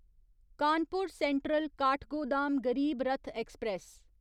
Kanpur central Kathgodam Garib Rath express